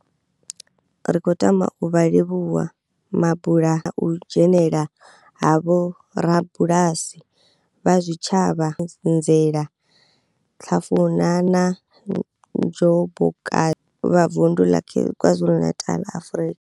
Ri khou tama u vha livhuwa mabula na u dzhenela ha vhorabulasi vha zwitshavha nzela, Hlafuna na Njobokazi vha Vundu la KwaZulu-Natal, Afrika.